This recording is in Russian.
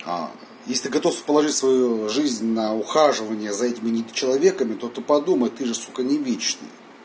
а если готов положить свою жизнь на ухаживание за этими недочеловеками то ты подумай ты же сука не вечный